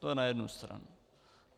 To je na jednu stranu.